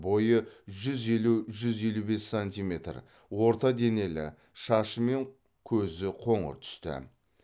бойы жүз елу жүз елу бес сантиметр орта денелі шашы мен көзі қоңыр түсті